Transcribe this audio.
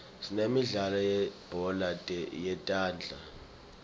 sinemidlalo yelibhola letandla